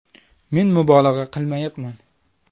Men mubolag‘a qilmayapman.